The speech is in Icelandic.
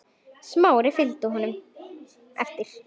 Smári fylgdi honum eftir.